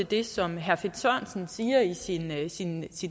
det som herre finn sørensen siger i sin i sin